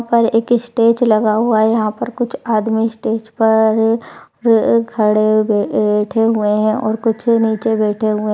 यहा पर एक ईस्टेज लगा हुआ है। यहा पर कुछ आदमी स्टेज पर र र खड़े हुए बैठे हुए है। और कुछ नीचे बैठे हुए --